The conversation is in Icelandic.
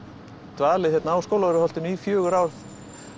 dvalið hérna á Skólavörðuholtinu í fjögur ár